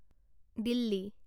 Delhi